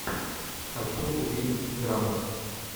хочу увидеть драму